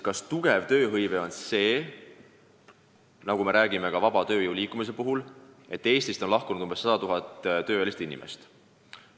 Kas tööhõivega on kõik korras, kui me räägime tööjõu vaba liikumist kiites sellest, et Eestist on lahkunud umbes 100 000 tööealist inimest?